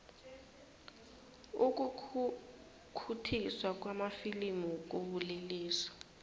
ukukhukhuthiswa kwamafilimu kubulelesi